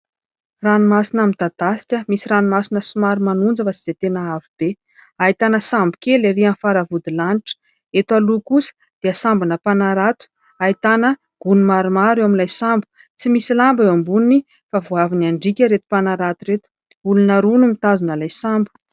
Ranomasina midadasika, misy ranomasina somary manonja fa tsy dia tena havo be. Ahitana sambo kely ery aminy faravody lanitra ; eto aloha kosa dia sambona mpanarato, ahitana gony maromaro eo amin'ilay sambo ; tsy misy lamba eo amboniny fa vao avy any an-driaka ireto mpanarato ireto. Olona roa no mitazona ilay sambo.